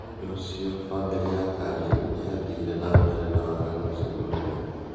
Nìundũ ucio famìlì ya Kani niathire na mbere na waganu ũcio munene".